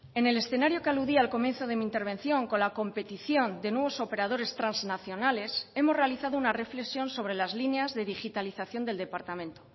en el escenario que aludía al comienzo de mi intervención con la competición de nuevos operadores transnacionales hemos realizado una reflexión sobre las líneas de digitalización del departamento